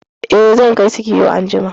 I, zan kai su kiwo anjima